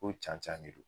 Ko can can de don